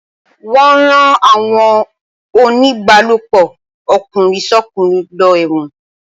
Wọ́n ó rán àwọn oníbálòpọ̀ ọkùnrin sọ́kùnrin lọ ẹ̀wọ̀n